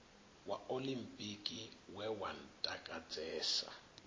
wa oḽimpiki we wa ntakadzesa